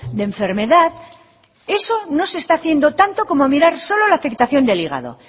de enfermedad eso no se está haciendo tanto como mirar solo la afectación del hígado